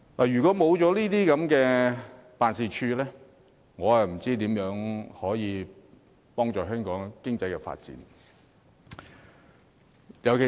如果沒有經貿辦的協助，我真不知道可如何協助香港發展經濟。